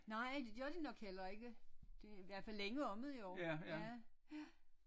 Nej det gør de nok heller ikke de er i hvert fald længe om det jo ja ja